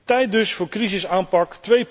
Tijd dus voor crisisaanpak